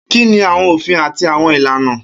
Kini awọn ofin ati awọn ilana?